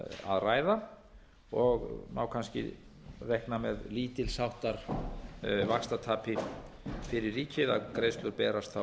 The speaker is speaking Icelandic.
innan ársins og má kannski reikna með lítils háttar vaxtatapi fyrir ríkið að greiðslur berast þá